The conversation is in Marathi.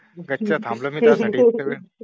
गाची ववर थांलो मी तया साठी